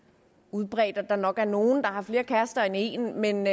udbredt at der nok er nogle der har flere kærester end en men